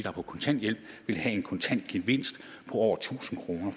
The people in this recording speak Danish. er på kontanthjælp vil have en kontant gevinst på over tusind kroner